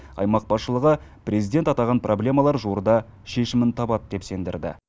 аймақ басшылығы президент атаған проблемалар жуырда шешімін табады деп сендірді